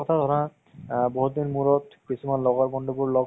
পিছত মানে তাৰ পিছত এনেকুৱা suspense বোৰ আছে যে নহয় movies তোত